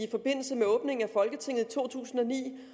i forbindelse med åbningen af folketinget i to tusind og ni